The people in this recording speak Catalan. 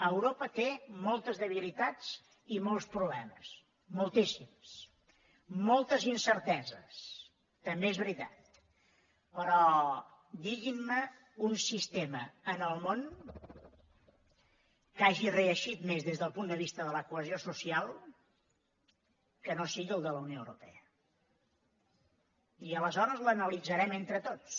europa té moltes debilitats i molts problemes moltíssims moltes incerteses també és veritat però diguin me un sistema en el món que hagi reeixit més del punt de vista de la cohesió social que no sigui el de la unió europea i aleshores l’analitzarem entre tots